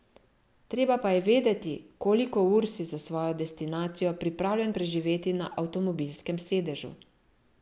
Treba pa je vedeti, koliko ur si za svojo destinacijo pripravljen preživeti na avtomobilskem sedežu.